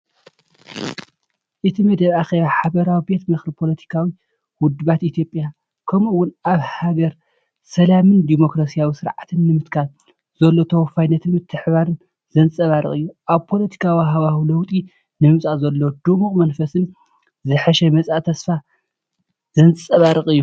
እቲ መደብ ኣኼባ ሓባራዊ ቤት ምኽሪ ፖለቲካዊ ውድባት ኢትዮጵያ፣ ከምኡ’ውን ኣብታ ሃገር ሰላምን ዲሞክራስያዊ ስርዓትን ንምትካል ዘሎ ተወፋይነትን ምትሕብባርን ዘንጸባርቕ እዩ። ኣብ ፖለቲካዊ ሃዋህው ለውጢ ንምምጻእ ዘሎ ድሙቕ መንፈስን ዝሓሸ መጻኢ ተስፋን ዘንጸባርቕ እዩ።